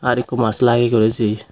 arokku mask lageye guri si.